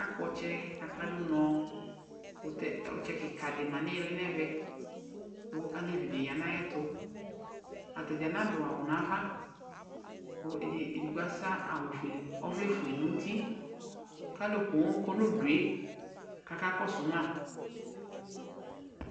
Akp'ɔtsɛ, aka dʋ nɔ, kʋtɛ ɔtsɛ kika di ma nihili nɛvɛ kʋ alevi dini ya n'ayɛtʋ Ata dzaa na dʋ awʋ n'ava kʋ edigbo asa awu fuele, ɔvɛ fue n'uti k'alʋ pooo kɔ n'ʋdue k'aka kɔsʋ ma